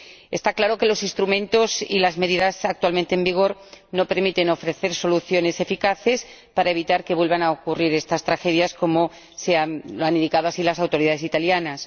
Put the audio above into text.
Está claro que los instrumentos y las medidas actualmente en vigor no permiten ofrecer soluciones eficaces para evitar que vuelvan a ocurrir estas tragedias, tal como han indicado las autoridades italianas.